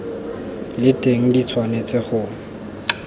le teng di tshwanetse go